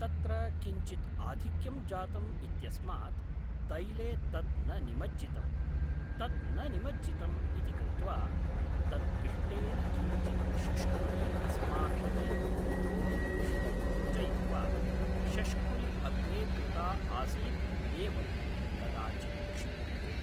तत्र किञ्चित् आधिक्यं जातम् इत्यस्मात् तैले तत् न निमज्जितम् तत् न निमज्जितम् इति कृत्वा तत् पिष्टेन किञ्चित् शष्कुलि अस्माभिः इतोऽपि पिष्टं योजयित्वा शष्कुलि अग्रे कृता आसित् एवं कदाचित् क्षिप्यते